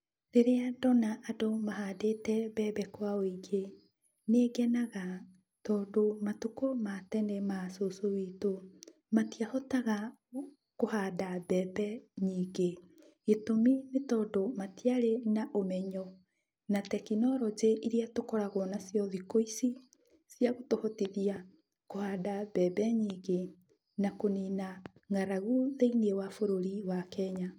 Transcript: Rĩrĩa ndona andũ mahandĩte mbembe kwa wĩingĩ, nĩngenaga, tondũ matukũ ma tene maa cũcũ witũ, matiahotaga kũhanda mbembe nyingĩ, gĩtũmi nĩ tondũ matiarĩ na ũmenyo na tekinoronjĩ iria tũkoragwo nacio thikũ ici, cia gũtũhotithia kũhanda mbembe nyingĩ na kũnina ng'aragu thĩiniĩ wa bũrũri wa Kenya.